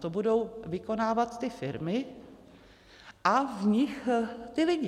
To budou vykonávat ty firmy a v nich ti lidé.